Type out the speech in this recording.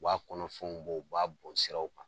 U b'a kɔnɔfɛnw b'o, u b'a bon siraw kan